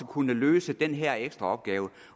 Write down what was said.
kunne løse den her ekstra opgave